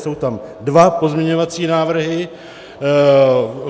Jsou tam dva pozměňovací návrhy.